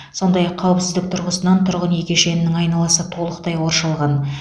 сондай ақ қауіпсіздік тұрғысынан тұрғын үй кешенінің айналасы толықтай қоршалған